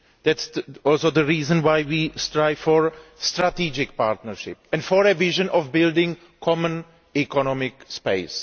That is also the reason why we strive for a strategic partnership and for a vision of building a common economic space.